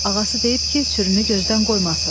Yox, ağası deyib ki, sürünü gözdən qoymasın.